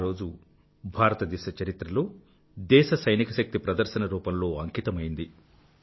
ఆ రోజు భారతదేశ చరిత్రలో దేశ సైనికశక్తి ప్రదర్శన రూపంలో అంకితమైంది